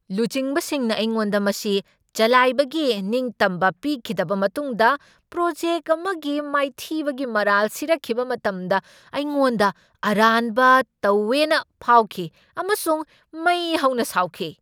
ꯂꯨꯆꯤꯡꯕꯁꯤꯡꯅ ꯑꯩꯉꯣꯟꯗ ꯃꯁꯤ ꯆꯂꯥꯏꯕꯒꯤ ꯅꯤꯡꯇꯝꯕ ꯄꯤꯈꯤꯗꯕ ꯃꯇꯨꯡꯗ ꯄ꯭ꯔꯣꯖꯦꯛ ꯑꯃꯒꯤ ꯃꯥꯏꯊꯤꯕꯒꯤ ꯃꯔꯥꯜ ꯁꯤꯔꯛꯈꯤꯕ ꯃꯇꯝꯗ ꯑꯩꯉꯣꯟꯗ ꯑꯔꯥꯟꯕ ꯇꯧꯋꯦꯅ ꯐꯥꯎꯈꯤ ꯑꯃꯁꯨꯡ ꯃꯩ ꯍꯧꯅ ꯁꯥꯎꯈꯤ꯫